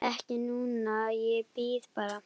Ekki núna, ég bíð bara.